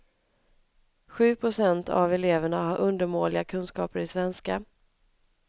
Sju procent av eleverna har undermåliga kunskaper i svenska.